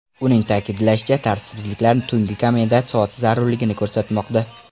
Uning ta’kidlashicha, tartibsizliklar tungi komendant soati zarurligini ko‘rsatmoqda.